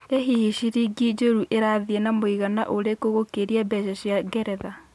ĩ hihi ciringi njũru ĩrathĩe na mũigana ũrikũ gũkĩria mbeca cia ngeretha